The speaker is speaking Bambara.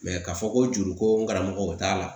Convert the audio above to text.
k'a fɔ ko juru ko n karamɔgɔ t'a la